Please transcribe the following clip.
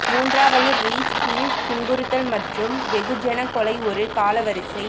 மூன்றாவது ரீச் கீழ் துன்புறுத்தல் மற்றும் வெகுஜன கொலை ஒரு காலவரிசை